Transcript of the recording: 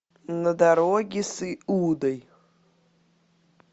на дороге с иудой